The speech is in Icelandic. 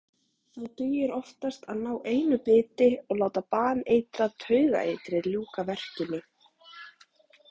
Þá dugir oftast að ná einu biti og láta baneitrað taugaeitrið ljúka verkinu.